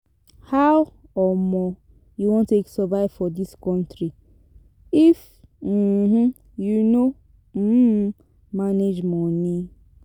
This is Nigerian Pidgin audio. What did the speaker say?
How um you wan take survive for dis country if um you no um manage money?